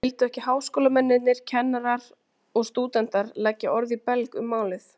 En vildu ekki háskólamennirnir, kennarar og stúdentar, leggja orð í belg um málið?